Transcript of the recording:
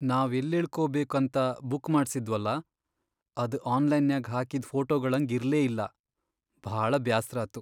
ನಾವ್ ಎಲ್ಲಿಳಕೋಬೇಕಂತ ಬುಕ್ ಮಾಡ್ಸಿದ್ವಲಾ ಅದ್ ಆನ್ಲೈನ್ನ್ಯಾಗ್ ಹಾಕಿದ್ ಫೋಟೊಗಳ್ಹಂಗ್ ಇರ್ಲೇಇಲ್ಲಾ, ಭಾಳ ಬ್ಯಾಸ್ರಾತು.